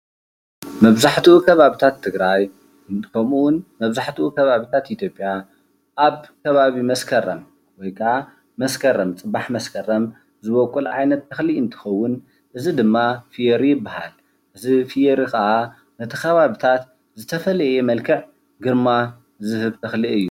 መብዛሕትኡ ከባብታት ትግራይ ከምኡ እዉን መብዛሕትኡ ከባብታት ኢትዮጵያ ኣብ ከባቢ መስከረም ወይ ክዓ መስከረም ፅባሕ መስከረም ዝቦቅል ዓይነት እኸሊ እንትኸዉን እዚ ድማ ፍዮሪ ይብሃል። እዚ ፍዮሪ ክዓ ነቲ ከባብታት ዝተፈለየ መልክዕ ግርማ ዝህብ እኸሊ እዩ።